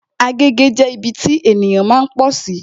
Agege jẹ́ ibi tí ènìyàn máa ń pọ̀sí